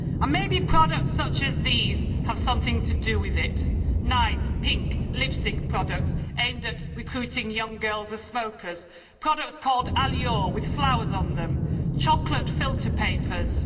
Maybe products such as these have something to do with it nice pink lipstick products aimed at recruiting young girls as smokers, products called Allure' with flowers on them, chocolate filter papers.